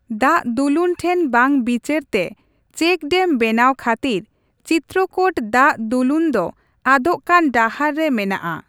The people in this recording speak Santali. ᱫᱟᱜᱫᱩᱞᱩᱱ ᱴᱷᱮᱱ ᱵᱟᱝ ᱵᱤᱪᱟᱹᱨ ᱛᱮ ᱪᱮᱠ ᱰᱮᱢ ᱵᱮᱱᱟᱣ ᱠᱷᱟᱹᱛᱤᱨ ᱪᱤᱛᱛᱨᱚᱠᱳᱴ ᱫᱟᱜᱽᱫᱩᱞᱩᱱ ᱫᱚ ᱟᱫᱚᱜ ᱠᱟᱱ ᱰᱟᱦᱟᱨ ᱨᱮ ᱢᱮᱱᱟᱜᱼᱟ ᱾